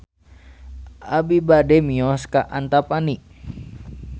Abi bade mios ka Antapani